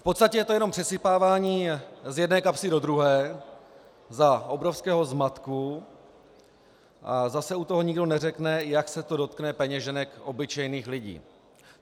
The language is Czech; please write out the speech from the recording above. V podstatě je to jenom přesypávání z jedné kapsy do druhé za obrovského zmatku a zase u toho nikdo neřekne, jak se to dotkne peněženek obyčejných lidí.